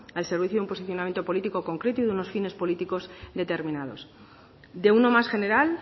al servicio de un posicionamiento político concreto y de unos fines políticos determinados de uno más general